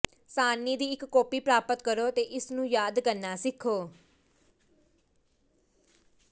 ਸਾਰਣੀ ਦੀ ਇੱਕ ਕਾਪੀ ਪ੍ਰਾਪਤ ਕਰੋ ਅਤੇ ਇਸ ਨੂੰ ਯਾਦ ਕਰਨਾ ਸਿੱਖੋ